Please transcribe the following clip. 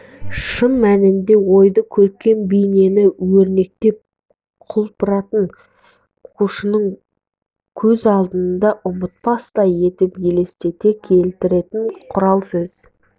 шын мәнінде ойды көркем бейнені өрнектеп құлпыртып оқушының көз алдына ұмытпастай етіп елестете келтіретін құрал сөз